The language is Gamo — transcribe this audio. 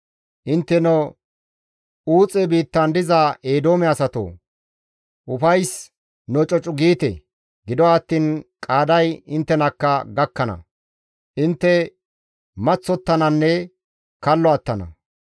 Intteno Uuxe biittan diza Eedoome asatoo! Ufays nococu giite! Gido attiin qaaday inttenakka gakkana; intte maththottananne kallo attana.